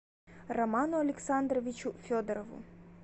роману александровичу федорову